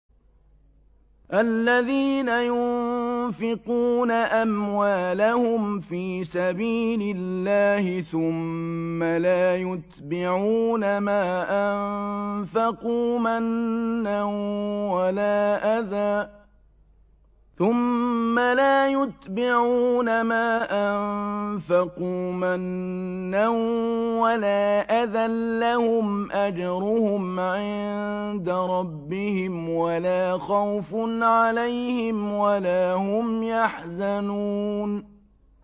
الَّذِينَ يُنفِقُونَ أَمْوَالَهُمْ فِي سَبِيلِ اللَّهِ ثُمَّ لَا يُتْبِعُونَ مَا أَنفَقُوا مَنًّا وَلَا أَذًى ۙ لَّهُمْ أَجْرُهُمْ عِندَ رَبِّهِمْ وَلَا خَوْفٌ عَلَيْهِمْ وَلَا هُمْ يَحْزَنُونَ